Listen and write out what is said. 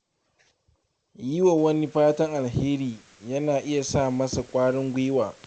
Yi wa wani fatan alheri yana iya sa masa kwarin gwiwa.